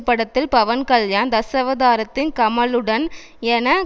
படத்தில் பவன் கல்யாண் தசாவதாரத்தில் கமலுடன் என